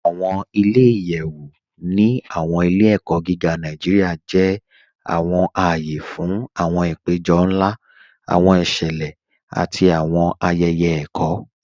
Awọn ilẹ̀-iyẹ̀wu ni awọn ilẹ̀-ẹ̀kọ gígá Nàìjíríà jẹ́ awọn ààyè fún awọn àpẹ̀jọ̀ nlá, awọn ìṣẹlẹ̀, àti awọn ayẹyẹ ẹ̀kọ.